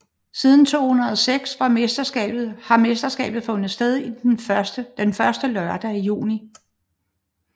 Siden 2006 har mesterskabet fundet sted den første lørdag i juni